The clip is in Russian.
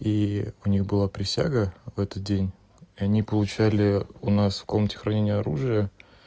и у них была присяга в этот день и они получали у нас в комнате хранения оружие